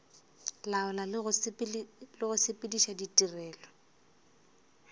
laola le go sepediša tirelo